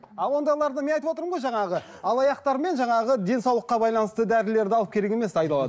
а ондайларды мен айтып отырмын ғой жаңағы алаяқтармен жаңағы денсаулыққа байланысты дәрілерді алып керек емес